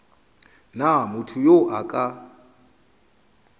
na motho yo a ka